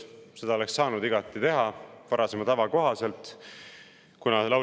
Seda oleks saanud varasema tava kohaselt igati teha.